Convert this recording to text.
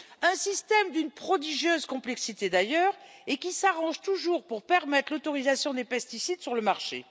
Un système d'une prodigieuse complexité, qui s'arrange toujours pour permettre l'autorisation des pesticides sur le marché.